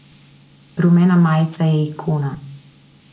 Rumena majica je ikona.